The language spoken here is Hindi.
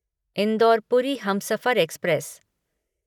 indoor Puri Humsafar express